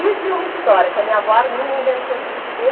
Isso e uma história que a minha avó Arminda inventou de dizer...